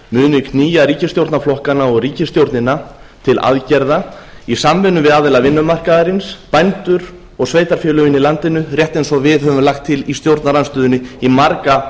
muni knýja ríkisstjórnarflokkana og ríkisstjórnina til aðgerða í samvinnu við aðila vinnumarkaðarins bændur og sveitarfélögin í landinu rétt eins og við höfum lagt til í stjórnarandstöðunni í marga